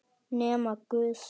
Nema guð.